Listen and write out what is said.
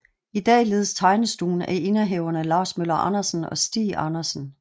I dag ledes tegnestuen af indehaverne Lars Møller Andersen og Stig Andersen